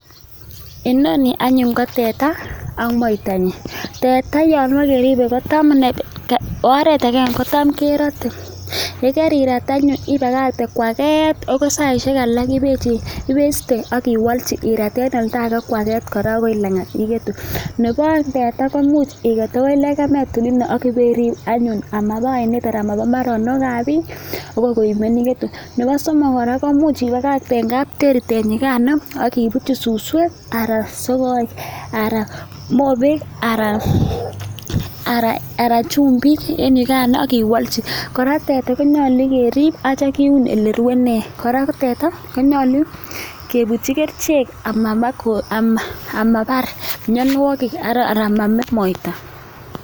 Inoni anyun ko teta ak moitanyin, tteta yon kibokekeripe ko oret agenge; kotam kerote, ye kerirat anyun ibakte koaget agoi saishek alak ibeste ak iwolchi irat en olda age kora koaget agoi lang'at igetu. Nebo oeng teta komuch iget agoi legemet olino ak ibeirip anyun ama oinet anan ama ba mbarenik ab biik agoi koimen igetu. Nebo somok kora koimuch ibakagte en kapteri tenyigano ak ibutyi suswek anan mobek anan chumbiken yugano ak iwolchi kora teta konyolu kerib ak kityo kiun ole rwe ine. Kora ko teta konyolu kebutyi kerichek amabar mianwogik ana amabar moita.